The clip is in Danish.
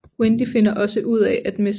Wendy finder også ud at Mr